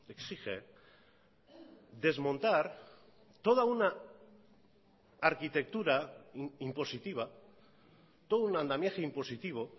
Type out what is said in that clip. exige desmontar toda una arquitectura impositiva todo un andamiaje impositivo